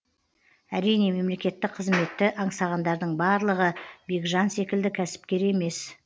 әрине мемлекеттік қызметті аңсағандардың барлығы бекжан секілді кәсіпкер емес